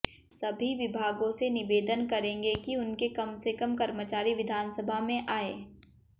सभी विभागों से निवेदन करेंगे कि उनके कम से कम कर्मचारी विधानसभा में आएं